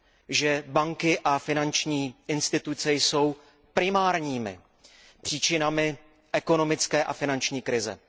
že banky a finanční instituce jsou primárními příčinami ekonomické a finanční krize.